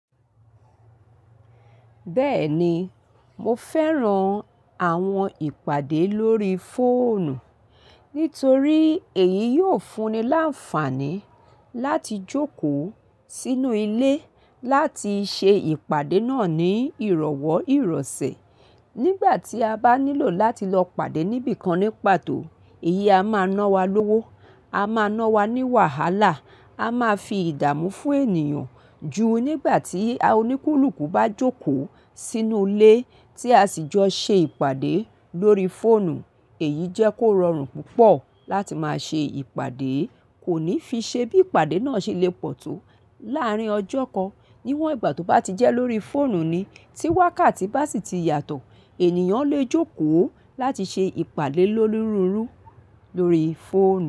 Bẹ́ẹ̀ni, mo fẹ́ran àwọn ìpàdé lórí fóònù nítorí èyí yóò fún ni láǹfààní láti jókòó sínú ilé láti ṣe ìpàdé náà ní ìrọ̀wọ́ ìrọ̀sẹ̀. Nígbà tí a bá nílò láti lọ pàdé níbí kan ní pàtó, èyí a máa ná wa lówó, a máa ná wa ní wàhálà, a máa fi ìdààmú fún ènìyàn ju nígbà tí oníkúlùkù bá jókòó sínú ilé tí a sì jọ ṣe ìpàdé lórí fóònù. Èyí jẹ́ kó rọrùn púpọ̀ láti máa ṣe ìpàdé, kò ní fi ṣe bí ìpàdé náà ṣe le pọ̀ tó láàárín ọjọ́ kan. Níwọn ìgbà tó bá ti jẹ́ lórí fóònù ni, tí wákàtí bá sì ti yàtọ̀, ènìyàn lè jókòó láti ṣe ìpàdé lọ́nirúru lórí fóònù.